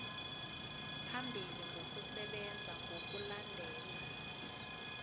phambili ngokusebenza ngokulandela